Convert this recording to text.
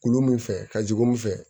Kulu min fɛ ka jigin mun fɛ